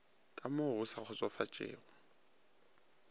ka mo go sa kgotsofatšego